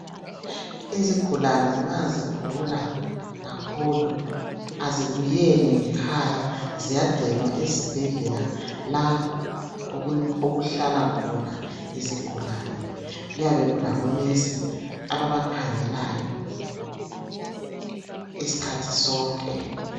Izigulane, ma zigula kakhulu. Kazibuyeli ngekhaya. Ziyagcinwa esibhedlela, la okuhlala khona izigulane. Kuyabe kulabonesi, ababakhangelayo, isikhathi sonke,